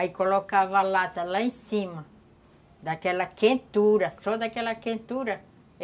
Aí colocava a lata lá em cima, daquela quentura, só daquela quentura.